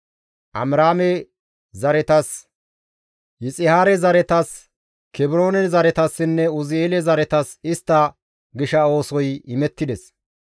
Amiraame zaretas, Yixihaare zaretas, Kebroone zaretasinne Uzi7eele zaretas istta gisha oosoy imettides.